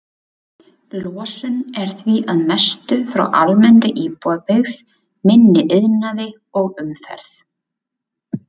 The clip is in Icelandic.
Losun er því að mestu frá almennri íbúabyggð, minni iðnaði og umferð.